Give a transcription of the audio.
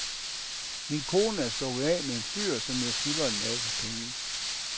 Min kone er stukket af med en fyr, som jeg skylder en masse penge.